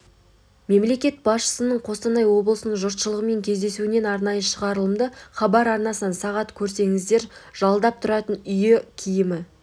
мемлекет басшысының қостанай облысының жұртышылығымен кездесуінен арнайы шығарылымды хабар арнасынан сағат көріңіздер жалдап тұратын үйі киімі